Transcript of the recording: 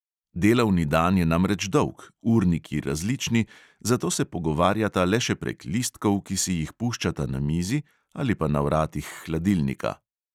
Delavni dan je namreč dolg, urniki različni, zato se pogovarjata le še prek listkov, ki si jih puščata na mizi ali pa na vratih hladilnika.